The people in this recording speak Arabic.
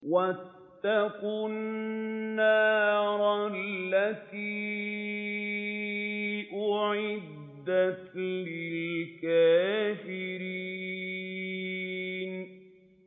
وَاتَّقُوا النَّارَ الَّتِي أُعِدَّتْ لِلْكَافِرِينَ